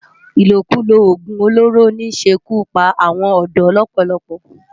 Ilókúló ógún ólóró n ṣé kú pá áwòn òdò lòpòlòpò